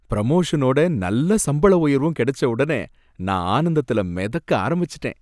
பிரமோஷனோட நல்ல சம்பள உயர்வும் கிடைச்ச உடனே நான் ஆனந்தத்துல மிதக்க ஆரம்பிச்சுட்டேன்.